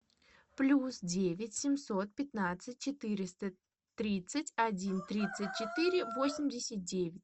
плюс девять семьсот пятнадцать четыреста тридцать один тридцать четыре восемьдесят девять